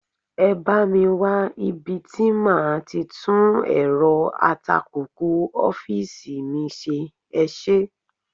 Ẹ bá mi wá ibi tí màá ti tún èrọ atakùkù ọ́fíìsì mi ṣe, ẹ ṣé.